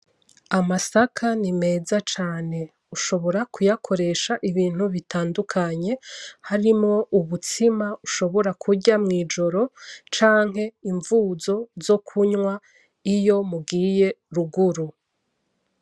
Amasaka ni meza cane. Ushobora kuyakoresha ibintu bitandukanye ,harimwo ubutsima ushobora kurya mw´ijoro canke imvuzo zo kunwa iyo mugiye ruguru.